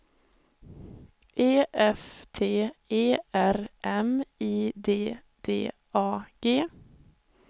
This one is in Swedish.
E F T E R M I D D A G